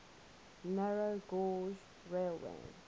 narrow gauge railway